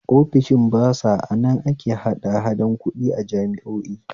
Ofishin basa anan ake hadahada kuɗi a jami'o'i